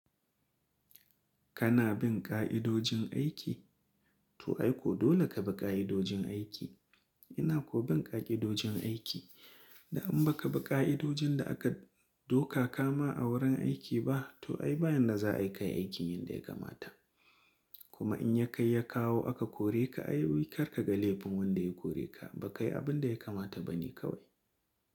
Kana bin ƙa'idojin aiki? To ai ko dole ka bi ƙa'idojin aiki. Ina ko bin ƙa'idojin aiki? Da in ba ka bi ƙa'idojin da aka doka ka ma a wurin aiki ba, to ai ba yadda za a yi kai aikin yadda ya kamata. Kuma in ya kai ya kawo aka kore ka, ai kar ka ga laifin wanda ya kore ka, ba kai abin da ya kamata ba ne kawai.